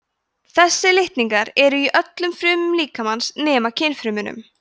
þessir litningar eru í öllum frumum líkamans nema kynfrumunum